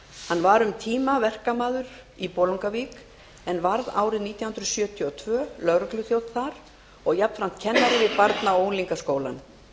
hann var um tíma verkamaður í bolungarvík en varð árið nítján hundruð sjötíu og tvö lögregluþjónn þar og jafnframt kennari við barna og unglingaskólann